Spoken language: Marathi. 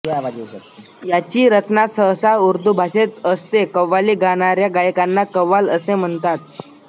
याची रचना सहसा उर्दू भाषेत असते कव्वाली गाणाऱ्या गायकांना कव्वाल असे म्हणतात